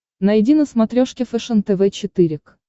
найди на смотрешке фэшен тв четыре к